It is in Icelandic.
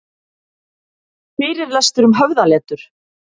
Fyrirlestur um höfðaletur